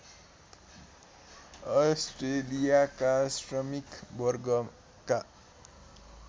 अस्ट्रेलियाका श्रमिक वर्गका